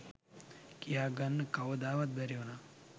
කියා ගන්න කවදාවත් බැරි උනා.